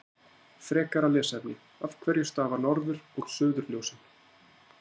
Frekara lesefni: Af hverju stafa norður- og suðurljósin?